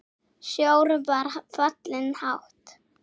Sjór var fallinn hátt.